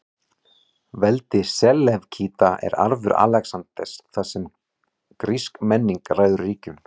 Veldi Selevkída er arfur Alexanders, þar sem grísk menning ræður ríkjum.